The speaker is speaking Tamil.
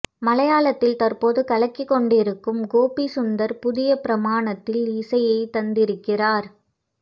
மலையாளத்தில் தற்போது கலக்கிக்கொண்டிருக்கும் கோபி சுந்தர் புதிய பரிமாணத்தில் இசையை தந்திருக்கிறார்